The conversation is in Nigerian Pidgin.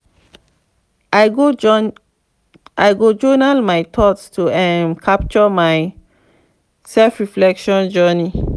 i go journal my thoughts to um capture my self-reflection journey.